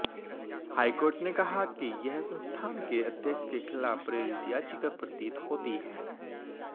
high court ने कहा कि यह संस्थान के अध्यक्ष के खिलाफ प्रेरित याचिका प्रतीत होती है